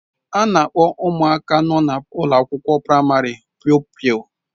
A na-akpọ ụmụaka nọ na ụlọ akwụkwọ praịmarị pụpịl.